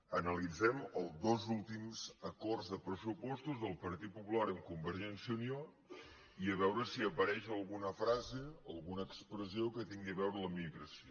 analitzem els dos últims acords de pressu·postos del partit popular amb convergència i unió i a veure si apareix alguna frase alguna expressió que tingui a veure amb la immigració